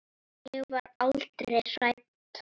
Ég var aldrei hrædd.